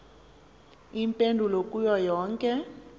iimpendulo kuyo yonke